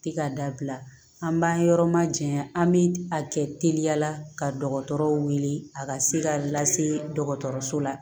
Tɛ ka dabila an b'an yɔrɔ ma janya an bɛ a kɛ teliya la ka dɔgɔtɔrɔw wele a ka se ka lase dɔgɔtɔrɔso la